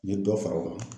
N ye dɔ fara o kan